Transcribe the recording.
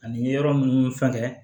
Ani yɔrɔ munnu fɛngɛ